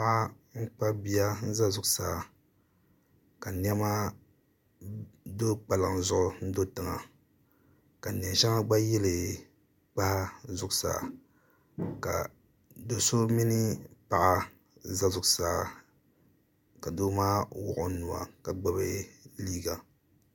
Paɣa n kpabi bia n za zuɣu saa ka niɛma do kpalaŋ zuɣu n do tiŋa ka niɛn shɛŋa gba yili kpaa zuɣu saa ka doso mini paɣa za zuɣu saa ka doo maa wuɣi o nua ka gbibi liiga.